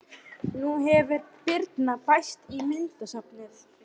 Nú hefur Birna bæst í myndasafnið.